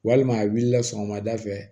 Walima a wulila sɔgɔmada fɛ